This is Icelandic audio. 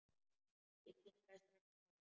Ég kinkaði strax kolli.